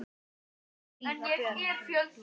Þín Fríða Björk.